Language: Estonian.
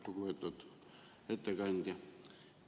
Lugupeetud ettekandja!